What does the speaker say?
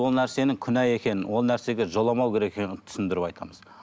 ол нәрсенің күнә екенін ол нәрсеге жоламау керек екенін түсіндіріп айтамыз